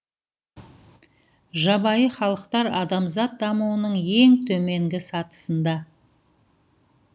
жабайы халықтар адамзат дамуының ең төменгі сатысында